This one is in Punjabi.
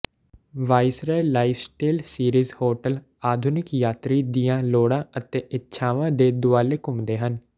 ਵਾਇਸਰਾਏ ਲਾਈਫਸਟੇਲ ਸੀਰੀਜ਼ ਹੋਟਲ ਆਧੁਨਿਕ ਯਾਤਰੀ ਦੀਆਂ ਲੋੜਾਂ ਅਤੇ ਇੱਛਾਵਾਂ ਦੇ ਦੁਆਲੇ ਘੁੰਮਦੇ ਹਨ